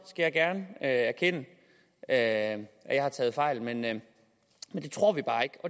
jeg gerne erkende at jeg har taget fejl men men det tror vi bare ikke